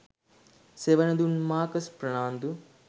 සෙවණ දුන් මාකස් ප්‍රනාන්දු